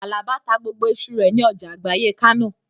Àlàbá ta gbogbo iṣu rẹ̀ ní ọjà àgbáyé Kánò